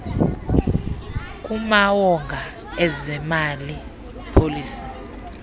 kumawonga ezemali policy